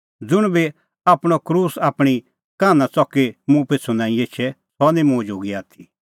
ज़ुंण बी आपणअ क्रूस आप्पै आपणीं कान्हा च़की मुंह पिछ़ू नांईं एछे सह निं मुंह जोगी आथी